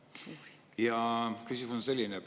Ja küsimus on selline.